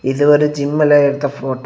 இது ஒரு ஜிம்ல எடுத்த ஃபோட்டோ .